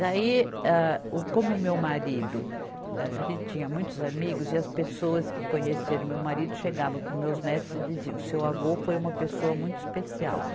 Daí, âh, o como o meu marido, âh, a gente tinha muitos amigos e as pessoas que conheceram o meu marido chegavam para os meus netos e diziam, seu avô foi uma pessoa muito especial.